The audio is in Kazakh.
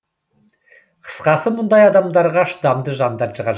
қысқасы мұндай адамдарға шыдамды жандар қажет